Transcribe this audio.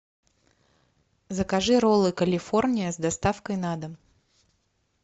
закажи роллы калифорния с доставкой на дом